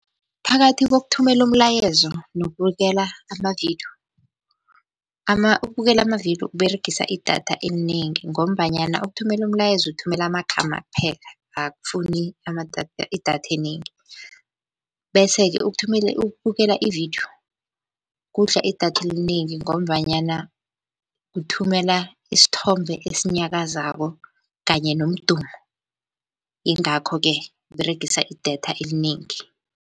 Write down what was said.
Phakathi kokuthumela umlayezo nokubukela amavidiyo ukubukela amavidiyo kUberegisa idatha elinengi, ngombanyana ukuthumela umlayezo uthumela amagama kuphela akufuni idatha enengi. Bese-ke ukuthumela ukubukela ividiyo kudla idatha elinengi, ngombanyana uthumela isithombe esinyakazako kanye nomdumo ingakho-ke kUberegisa idatha elinengi.